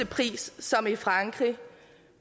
pris som i frankrig